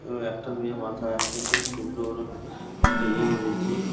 আঁ একটা মেয়ে মাথা একটা খুব সুন্দর একটা এ বেঁধেছে।